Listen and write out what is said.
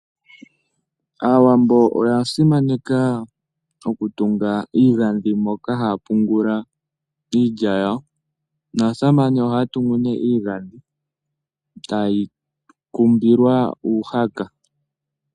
Aawambo oya simaneka okutunga iigadhi moka haya pungula iilya yawo naasamane ohaya tuu nee iigadhi etayeyi kumbile uuhaka.